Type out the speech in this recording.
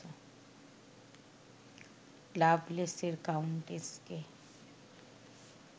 লাভলেসের কাউন্টেসকে